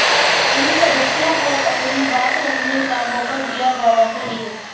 इन सदस्यों को अपनी बात रखने का मौका दिया जाना चाहिए